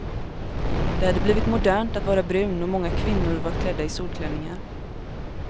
Det hade blivit modernt att vara brun och många kvinnor var klädda i solklänningar.